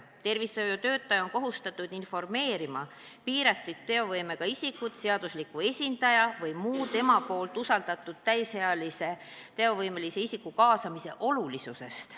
Tervishoiutöötaja on kohustatud piiratud teovõimega isikut informeerima seadusliku esindaja või muu tema jaoks usaldusväärse täisealise teovõimelise isiku kaasamise olulisusest.